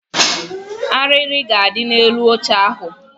Arịrị ga-adị n'elu oche ahụ